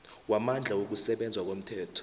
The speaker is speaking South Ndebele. wamandla wokusebenza ngomthetho